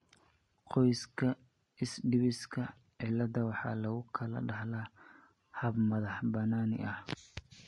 Qoyska Iswiidhishka, 'cillada' waxaa lagu kala dhaxlaa hab madax-bannaani ah.